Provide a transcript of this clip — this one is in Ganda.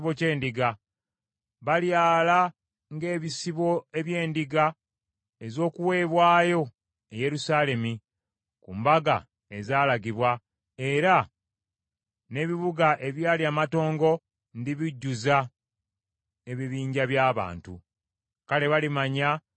Balyala ng’ebisibo eby’endiga ez’okuweebwayo e Yerusaalemi ku mbaga ezaalagirwa, era n’ebibuga ebyali amatongo ndibijjuza ebibinja by’abantu. Kale balimanya nga nze Mukama .”